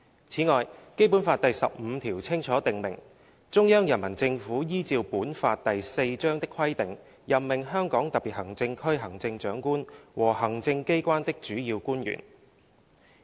"此外，《基本法》第十五條清楚訂明："中央人民政府依照本法第四章的規定任命香港特別行政區行政長官和行政機關的主要官員。